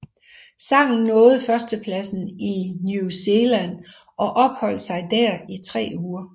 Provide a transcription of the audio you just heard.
Sangen nåede førstepladsen i New Zealand og opholdt sig der i tre uger